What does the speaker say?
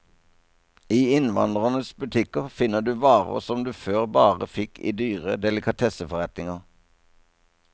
I innvandrernes butikker finner du varer som du før bare fikk i dyre delikatesseforretninger.